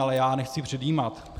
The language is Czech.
Ale já nechci předjímat.